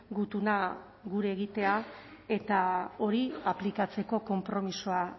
gutuna gure egitea eta hori aplikatzeko konpromisoa